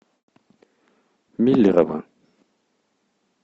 миллерово